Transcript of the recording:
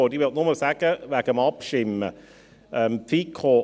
Ich möchte nur wegen des Abstimmens etwas sagen.